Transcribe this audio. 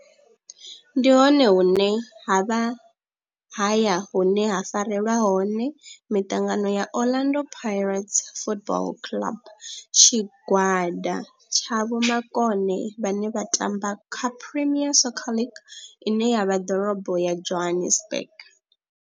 Ndi hone hune havha haya hune ha farelwa hone mitangano ya Orlando Pirates Football Club. Tshigwada tsha vhomakone vhane vha tamba kha Premier Soccer League ine ya vha Ḓorobo ya Johannesburg.